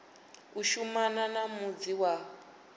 u shumana na mudzi wa